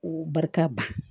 Barika ba